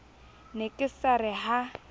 ne ke sa re ha